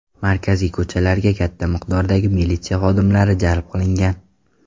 Markaziy ko‘chalarga katta miqdordagi militsiya xodimlari jalb qilingan.